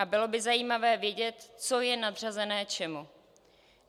A bylo by zajímavé vědět, co je nadřazené čemu.